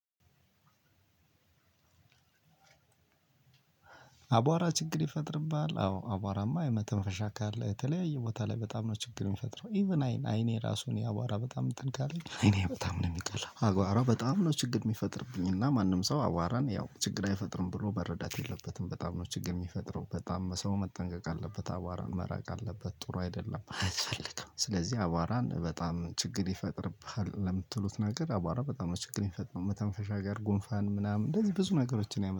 አቧራ ችግር ይፈጥርብሃል። አዎ አቧራማ የመተንፈሻ አካል የተለያየ ቦታ ላይ በጣም ነው ችግር የሚፈጥረው። ኢቭን አይን አይኔ ራሱን ያቧራ በጣም እንትን ካለኝ አይኔ በጣም ነው የሚቀላው። አባራ በጣም ነው ችግር የሚፈጥርብኝ። እና ማንም ሰው አዋራን ያው ችግር አይፈጥርም ብሎ መረዳት የለበትም። በጣም ነው ችግር የሚፈጥረው በጣም በሰው መጠንቀቅ አለበት። አባራን መራቅ አለበት። ጥሩ አይደለም አያስፈልግም። ስለዚህ አቧራን በጣም ችግር ይፈጥርብሃል። ለምትሉት ነገር አቧራ በጣም ነው ችግር የሰጠው መተንፈሻ ጋር ጉንፋን ምናምን እንደዚህ ብዙ ነገሮችን ያመጣል